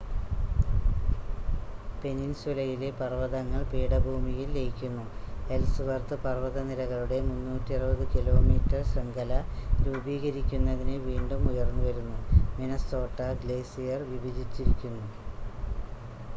പെനിൻസുലയിലെ പർവതങ്ങൾ പീഠഭൂമിയിൽ ലയിക്കുന്നു എൽസ്‌വർത്ത് പർവതനിരകളുടെ 360 കിലോമീറ്റർ ശൃംഖല രൂപീകരിക്കുന്നതിന് വീണ്ടും ഉയർന്നുവരുന്നു മിനസോട്ട ഗ്ലേസിയർ വിഭജിച്ചിരിക്കുന്നു